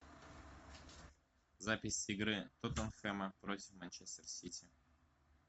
запись игры тоттенхэма против манчестер сити